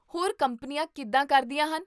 ਹੋਰ ਕੰਪਨੀਆਂ ਕਿੱਦਾਂ ਕਰਦੀਆਂ ਹਨ?